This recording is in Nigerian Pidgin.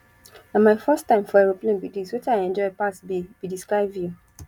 na my first time for aeroplane be dis wetin i enjoy pass be be the sky view